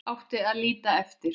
Átti að líta eftir